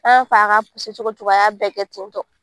An y'a fɔ a k'a cogo o cogo a y'a bɛɛ kɛ ten tɔ